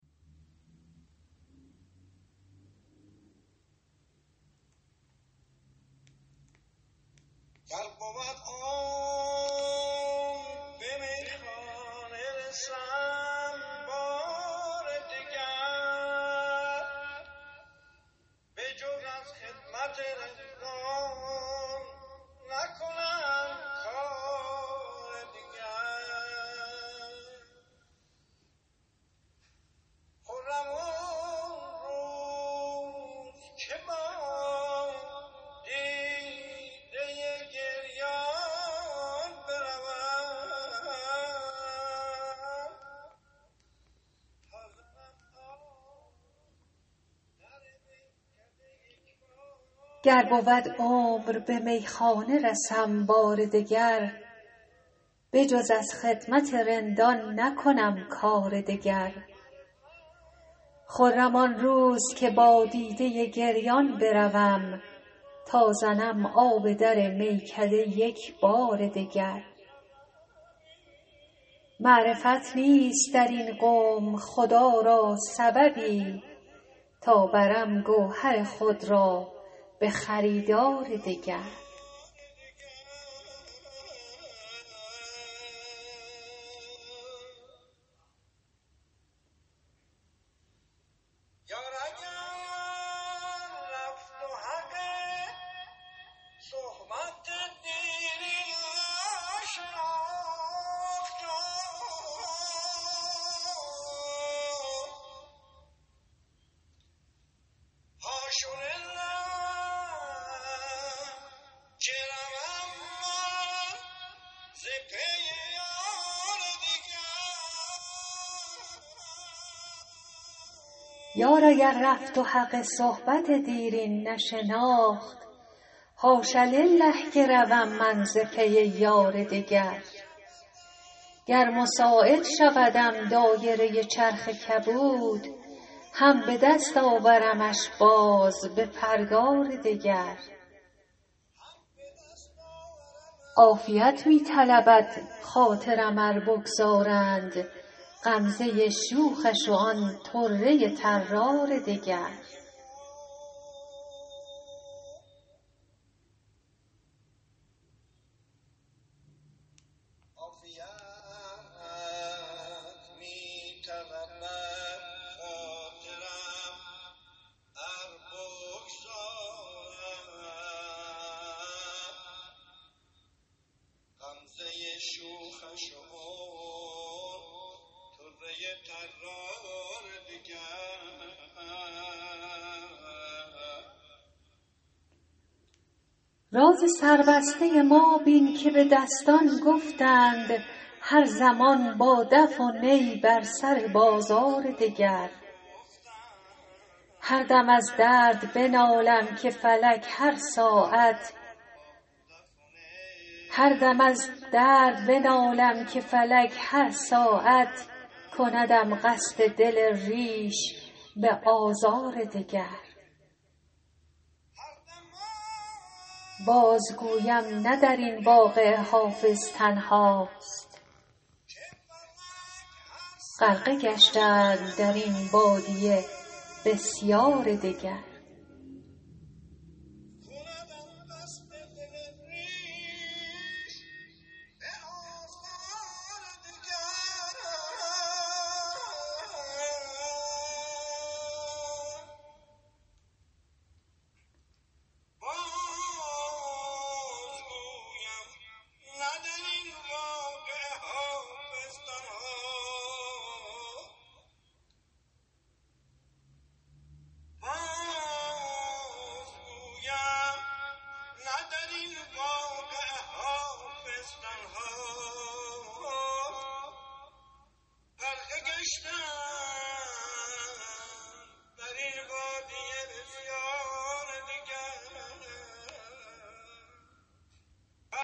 گر بود عمر به میخانه رسم بار دگر بجز از خدمت رندان نکنم کار دگر خرم آن روز که با دیده گریان بروم تا زنم آب در میکده یک بار دگر معرفت نیست در این قوم خدا را سببی تا برم گوهر خود را به خریدار دگر یار اگر رفت و حق صحبت دیرین نشناخت حاش لله که روم من ز پی یار دگر گر مساعد شودم دایره چرخ کبود هم به دست آورمش باز به پرگار دگر عافیت می طلبد خاطرم ار بگذارند غمزه شوخش و آن طره طرار دگر راز سربسته ما بین که به دستان گفتند هر زمان با دف و نی بر سر بازار دگر هر دم از درد بنالم که فلک هر ساعت کندم قصد دل ریش به آزار دگر بازگویم نه در این واقعه حافظ تنهاست غرقه گشتند در این بادیه بسیار دگر